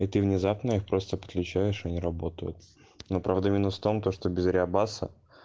и ты внезапно я просто подключаешься не работают но правда минус в том то что без реобаса